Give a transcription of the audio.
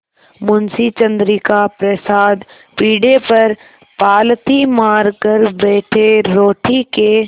मुंशी चंद्रिका प्रसाद पीढ़े पर पालथी मारकर बैठे रोटी के